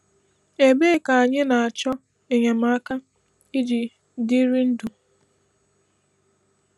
Ebee ka anyị na-achọ enyemaka iji dịrị ndụ?